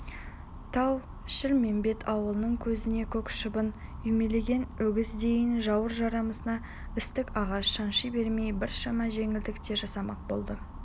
тау-шілмембет ауылын көзіне көк шыбын үймелеген өгіздейін жауыр жарасына істік ағаш шанши бермей біршама жеңілдік те жасамақ болды